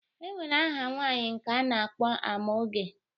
E nwere aha nwaanyị nke a na-akpọ Amaoge